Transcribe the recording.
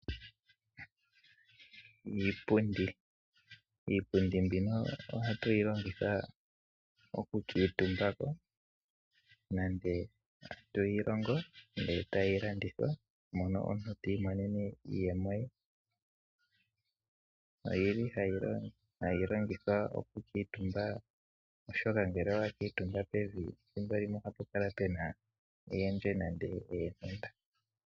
Iipundi ohatuyi longitha okukuutumba nande toyi longo etoyi landithwa mono omuntu tiimonene iiyemo ye. Oyili hayi longithwa okukuutumba oshoka ngele owakuututhimbo pevi limwe ohapu kala pena eendje nande eentenda.